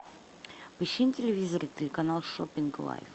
поищи на телевизоре телеканал шоппинг лайф